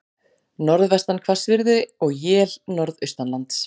Norðvestan hvassviðri og él norðaustanlands